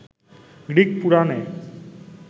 Greek পুরাণে